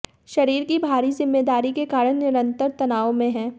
शरीर की भारी जिम्मेदारी के कारण निरंतर तनाव में है